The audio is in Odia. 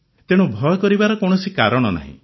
ତେଣୁ ଭୟ କରିବାର କୌଣସି କାରଣ ନାହିଁ